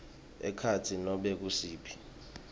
ekhatsi nobe ngusiphi